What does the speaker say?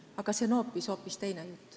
Aga see on hoopis teine jutt.